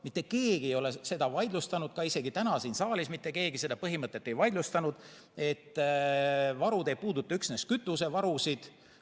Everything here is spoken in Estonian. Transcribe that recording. Mitte keegi ei ole seda vaidlustanud, isegi täna siin saalis mitte keegi seda põhimõtet ei vaidlustanud, et varud ei puuduta üksnes kütusevarusid.